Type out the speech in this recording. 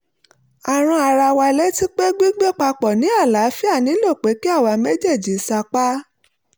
a rán ara wa létí pé gbígbé papọ̀ ní àlááfíà nílò pé kí àwa méjèèjì sapá